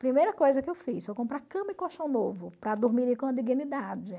Primeira coisa que eu fiz foi comprar cama e colchão novo para dormirem com a dignidade.